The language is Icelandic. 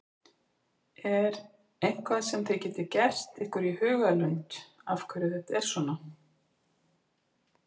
Er eitthvað sem þið getið gert ykkur í hugarlund af hverju þetta er svona?